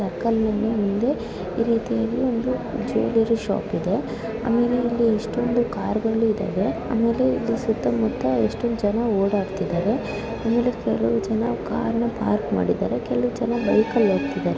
Vehicle ಮುಂದೆ ಈ ರೀತಿಯಾಗಿ ಒಂದು ಜಿವೆಲ್ಲರಿ ಶಾಪ್ ಇದೆ ಆಮೇಲೆ ಇಲ್ಲಿ ಎಷ್ಟೊಂದು ಕಾರ ಗಳು ಇದಾವೆ ಆಮೇಲೆ ಇಲ್ಲಿ ಸುತ್ತಮುತ್ತ ಎಷ್ಟೊಂದು ಜನ ಓಡಾಡ್ತಿದಾರೆ ಆಮೇಲೆ ಕೆಲವು ಜನ ಕಾರನ ಪಾರ್ಕ್ ಮಾಡಿದರೆ ಕೆಲವು ಜನ ಬೈಕ ಲ್ಲಿ ಹೋಗ್ತಿದಾರೆ.